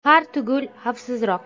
Har tugul xavfsizroq.